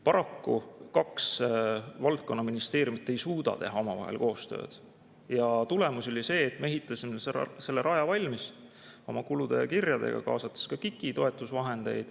Paraku kaks valdkonnaministeeriumit ei suuda teha omavahel koostööd ja tulemus oli see, et me ehitasime selle raja valmis oma kulu ja kirjadega, kaasates ka KIK-i toetusvahendeid.